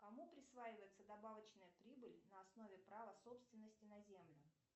кому присваивается добавочная прибыль на основе права собственности на землю